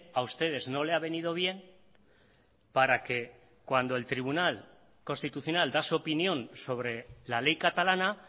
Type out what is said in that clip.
a ustedes no le ha venido bien para que cuando el tribunal constitucional da su opinión sobre la ley catalana